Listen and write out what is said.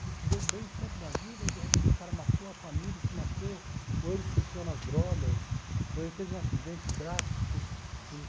que se deu bem sempre na vida e, de repente, o cara matou a família e se matou, ou ele se enfiou nas drogas, ou ele teve um acidente drástico.